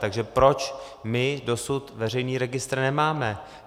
Takže proč my dosud veřejný registr nemáme?